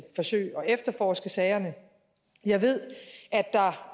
forsøge at efterforske sagerne jeg ved